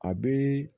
A bɛ